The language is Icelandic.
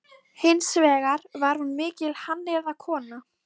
Hins vegar var hún mikil hannyrðakona.